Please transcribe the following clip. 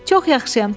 Çox yaxşıyam.